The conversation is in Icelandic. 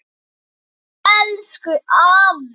Ó elsku afi.